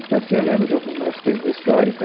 Então, assim, eu lembro de algumas coisas da história, então.